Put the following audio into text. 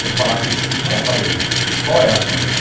Se eu falar que sim, ela vai... Qual é a reação dela?